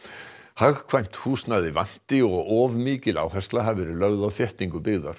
hagkvæmt húsnæði vanti og of mikil áhersla hafi verið lögð á þéttingu byggðar